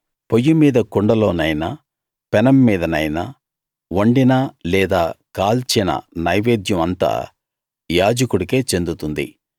పొయ్యి మీద కుండలోనైనా పెనం మీదనైనా వండిన లేదా కాల్చిన నైవేద్యం అంతా యాజకుడికే చెందుతుంది